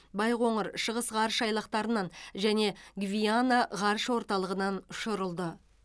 байқоңыр шығыс ғарыш айлақтарынан және гвиана ғарыш орталығынан ұшырылды